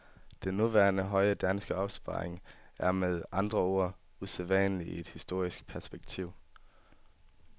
Den nuværende høje danske opsparing er, med andre ord, usædvanlig i et historisk perspektiv.